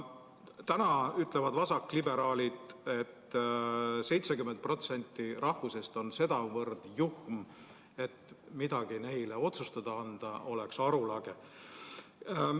Täna ütlevad vasakliberaalid, et 70% rahvast on sedavõrd juhm, et midagi neile otsustada anda oleks arulage.